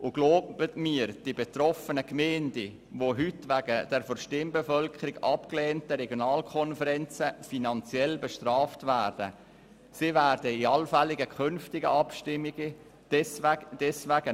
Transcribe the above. Glauben Sie mir, die betroffenen Gemeinden, die heute infolge der von ihren Stimmbevölkerungen abgelehnten Regionalkonferenzen bestraft werden, werden deshalb bei künftigen Abstimmungen nicht zustimmen.